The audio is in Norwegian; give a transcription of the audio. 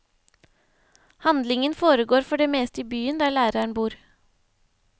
Handlingen foregår for det meste i byen, der læreren bor.